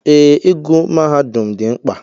Ee, ịgụ mahadum dị mkpa.